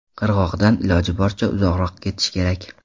Qirg‘oqdan iloji boricha uzoqroq ketish kerak.